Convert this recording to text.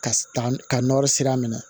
Ka ka nɔri sira minɛ